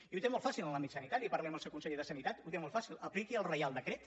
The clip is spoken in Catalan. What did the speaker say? i ho té molt fàcil en l’àmbit sanitari parli amb el seu conseller de sanitat ho té molt fàcil apliqui el reial decret